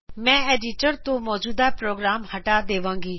ਮੈ ਐਡੀਟਰ ਤੋਂ ਮੌਜੂਦਾ ਪ੍ਰੋਗਰਾਮ ਹਟਾ ਦੇਵਾਂਗੀ